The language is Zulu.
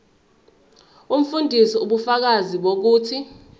umfundisi ubufakazi bokuthi